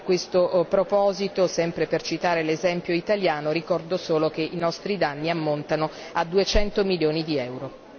A questo proposito, sempre per citare l'esempio italiano, ricordo solo che i nostri danni ammontano a duecento milioni di euro.